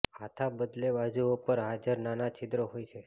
હાથા બદલે બાજુઓ પર હાજર નાના છિદ્રો હોય છે